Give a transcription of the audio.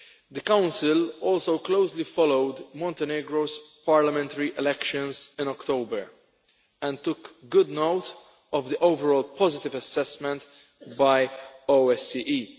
The Council also closely followed Montenegro's parliamentary elections in October and took good note of the overall positive assessment by the OSCE.